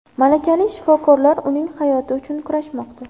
Malakali shifokorlar uning hayoti uchun kurashmoqda.